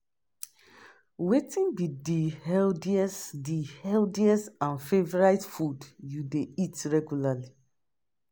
Wetin be di healthiest di healthiest and favorite food you dey eat reguarly?